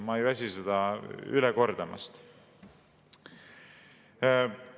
Ma ei väsi seda kordamast.